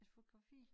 Et fotografi